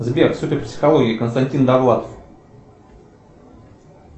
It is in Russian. сбер суперпсихология константин довлатов